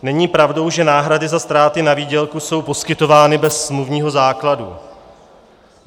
Není pravdou, že náhrady za ztráty na výdělku jsou poskytovány bez smluvního základu.